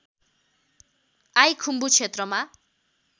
I Khumbu क्षेत्रमा